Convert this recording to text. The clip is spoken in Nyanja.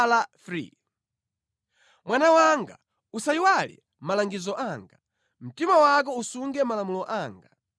Mwana wanga, usayiwale malangizo anga, mtima wako usunge malamulo anga.